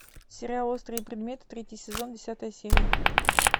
сериал острые предметы третий сезон десятая серия